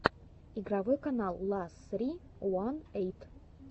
игровой канал ла ссри уан эйт